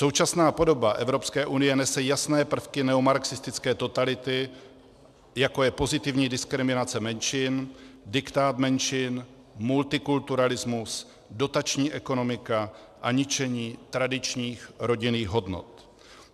Současná podoba Evropské unie nese jasné prvky neomarxistické totality, jako je pozitivní diskriminace menšin, diktát menšin, multikulturalismus, dotační ekonomika a ničení tradičních rodinných hodnot.